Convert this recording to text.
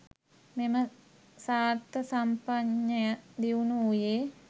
මෙම සාර්ථසම්පජඤ්ඤය දියුණු වූයේ